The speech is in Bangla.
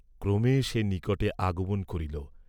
ক্রমে সে নিকটে আগমন করিল।